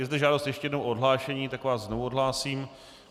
Je zde žádost ještě jednou o odhlášení, tak vás znovu odhlásím.